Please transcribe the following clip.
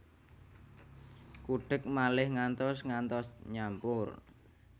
Kudhek malih ngantos ngantos nyampur